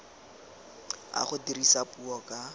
a go dirisa puo ka